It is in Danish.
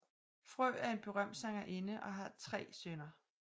Frø er en berømt sangerinde og har tre sønner